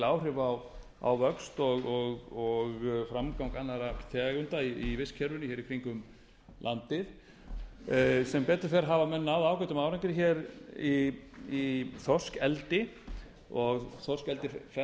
áhrif á vöxt og framgang annarra tegunda í vistkerfinu í kringum landið sem betur fer hafa menn náð ágætum árangri í þorskeldi og þorskeldi